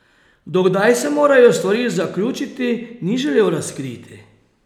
Do kdaj se morajo stvari zaključiti, ni želel razkriti.